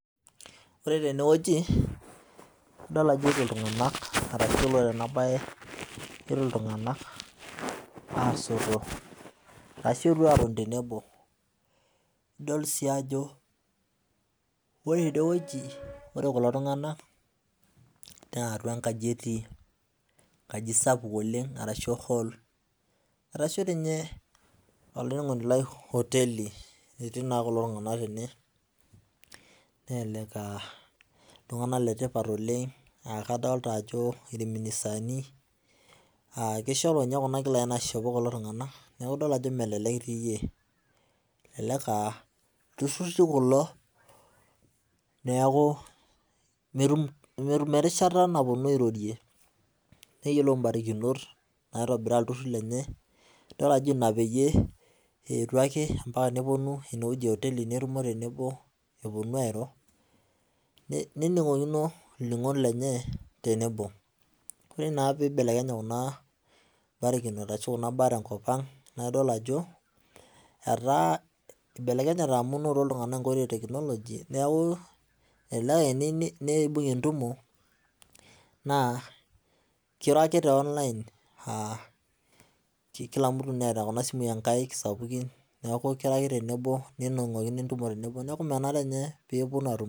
Ore teneweji adolo ejoto iltunganak aigulunore enabaye ore iltungana aasoto ashu eponu atoni tenebo, idol sii ajo ore endeweji ore kulo tungana naa atua inkaji etii, nkaji sapuk arashu hool arashu ninye olainining'oni lai oteli etii naa kulo tungana tene ,nelelek aa iltungana le tipat oleng, aakadolita ajo ilministani ,aakeshopo ninye kuna nkilani naishopo kulo tungana, naaku idol ajo melelek oii iyie. Lturruri kulo, naaku meetum erishata naponu airorie nayiolou imbarikinot neitobiraa ilturruri lenye. Idol ajo ina ake peyie eetio, neponu eneweji eoteli netumo tenebo eponu airo, nening'okino ilning'ot lenyee tenebo. Ore naa peibelekenya kunaa imbarikinot ashu kuna imbaraa tenkopang naaku idol ajo etaa eibelekenyata amu etaa ore teknoloji naaku ene ake eibung'ie entumo, naa keiro ake te online aakila mtu neeta kuna simui enkaik sapukin, neaku keiro ake tenebo nening'oki entumo tenebo neeku ninye peeponu aatumo.